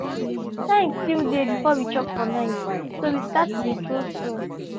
time still dey before we chop for night so we start dey throw stone